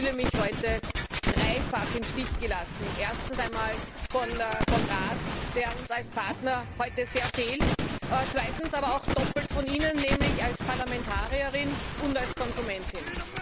Ich fühle mich heute dreifach im Stich gelassen, erstens vom Rat, der uns als Partner heute sehr fehlt, zweitens aber auch doppelt von Ihnen, nämlich als Parlamentarierin und als Konsumentin.